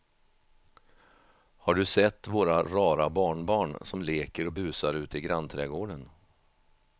Har du sett våra rara barnbarn som leker och busar ute i grannträdgården!